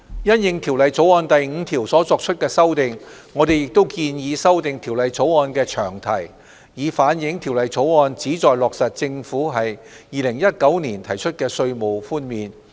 因應《條例草案》第5條所作的修訂，我們亦建議修訂《條例草案》的詳題，以反映《條例草案》旨在落實政府在2019年提出的稅務寬免。